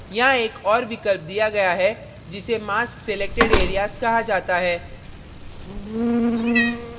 यहाँ एक और विकल्प दिया गया है जिसे mask selected areas कहा जाता है